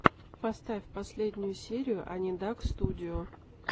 поставь последнюю серию анидакстудио